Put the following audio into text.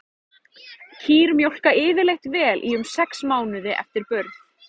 Kýr mjólka yfirleitt vel í um sex mánuði eftir burð.